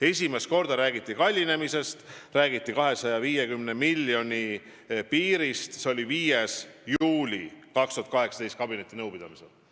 Esimest korda räägiti kallinemisest, räägiti 250 miljoni piirist mullu 5. juuli kabinetinõupidamisel.